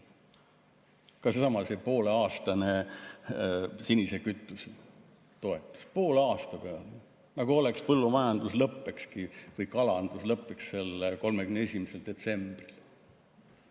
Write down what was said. Ka seesama pooleaastane sinise kütuse toetus, poole aasta peale, nagu põllumajandus või kalandus lõppekski 31. detsembril.